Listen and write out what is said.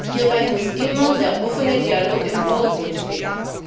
Hierbei muss immer der offene Dialog im Vordergrund stehen.